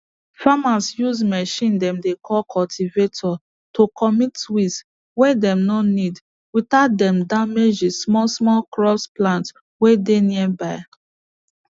farmers use machine dem dey call cultivator to commit weeds way dem no need without dem damage the small small crop plant way dey nearby